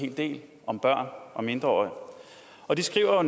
hel del om børn og mindreårige og de skriver